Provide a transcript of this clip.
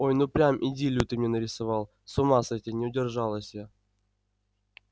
ой ну прям идиллию ты мне нарисовал с ума сойти не удержалась я